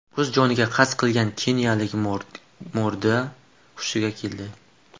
O‘z joniga qasd qilgan keniyalik morgda hushiga keldi.